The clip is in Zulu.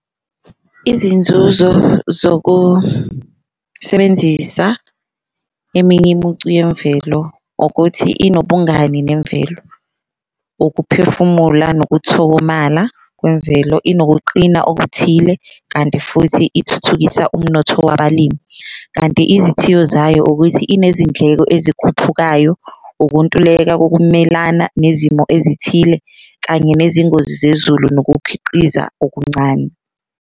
Izinzuzo zokusebenzisa eminye imicu yemvelo ukuthi inobungani nemvelo, ukuphefumula, nokuthokomala kwemvelo, inokuqina okuthile kanti futhi ithuthukisa umnotho wabalimi. Kanti izithiyo zayo ukuthi inezindleko ezikhuphukayo, ukuntuleka kokumelana nezimo ezithile kanye nezingozi zezulu nokukhiqiza okuncane.